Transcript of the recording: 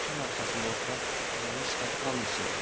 Sükan arxasında oturan adamın sifəti qan içində idi.